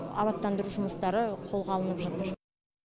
абаттандыру жұмыстары қолға алынып жатыр